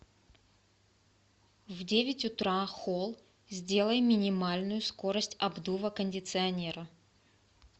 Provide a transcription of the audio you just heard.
в девять утра холл сделай минимальную скорость обдува кондиционера